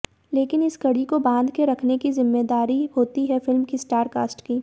लेकिन इस कड़ी को बांध के रखने की ज़िम्मेदारी होती है फिल्म की स्टारकास्ट की